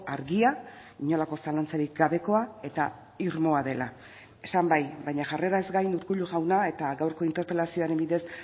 argia inolako zalantzarik gabekoa eta irmoa dela esan bai baina jarreraz gain urkullu jauna eta gaurko interpelazioaren bidez